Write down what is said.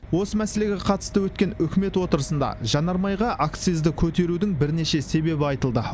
осы мәселеге қатысты өткен үкімет отырысында жанармайға акцизді көтерудің бірнеше себебі айтылды